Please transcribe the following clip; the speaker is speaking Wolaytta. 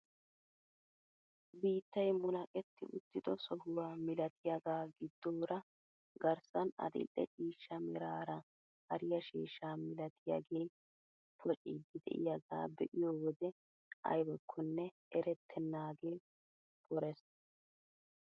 Biittay munaqeetti uttido sohuwaa milatiyaagaa giddoora garssan adil'e ciishsha meraara hariyaa sheeshshaa milatiyaagee pocciidi de'iyaaga be'iyoo wode aybakkonne erettenagee porees.